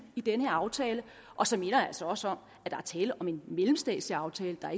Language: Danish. i den her aftale og så minder jeg altså også om at der er tale om en mellemstatslig aftale der